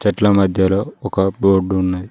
చెట్ల మధ్యలో ఒక రోడ్డు ఉంది.